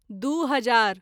दू हजार